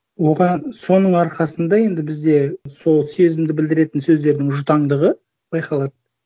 соның арқасында енді бізде сол сезімді білдіретін сөздердің жұтаңдығы байқалады